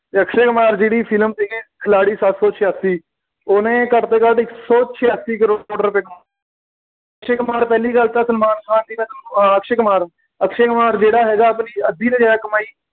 ਅਤੇ ਅਕਸ਼ੇ ਕੁਮਾਰ ਜਿਹੜੀ ਫਿਲਮ ਸੀਗੀ, ਖਿਲਾੜੀ ਸਾਤ ਸੌ ਛਿਆਸੀ, ਉਹਨੇ ਘੱਟ ਤੋਂ ਘੱਟ ਇਕ ਸੌ ਛਿਆਸੀ ਕਰੌੜ ਰੁਪਏ ਕਮਾਏ ਅਕਸ਼ੇ ਕੁਮਾਰ ਪਹਿਲੀ ਗੱਲ ਤਾਂ ਸਲਮਾਨ ਖਾਨ ਦੀ ਅਕਸ਼ੇ ਕੁਮਾਰ ਜਿਹੜਾ ਹੈਗਾ ਆਪਣੀ ਅੱਧੀ ਤੋਂ ਜ਼ਿਆਦਾ ਕਮਾਈ